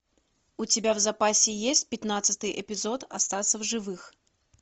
у тебя в запасе есть пятнадцатый эпизод остаться в живых